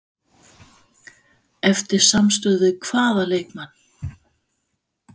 Eftir samstuð við hvaða leikmann?